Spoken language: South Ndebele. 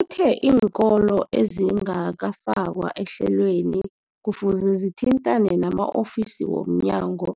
Uthe iinkolo ezingakafakwa ehlelweneli kufuze zithintane nama-ofisi wo mnyango